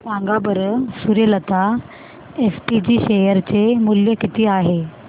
सांगा बरं Suryalata SPG share चे मूल्य किती आहे